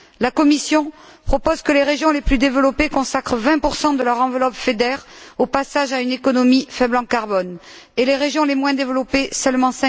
La Commission propose que les régions les plus développées consacrent 20 de leur enveloppe FEDER au passage à une économie faible en carbone et les régions les moins développées seulement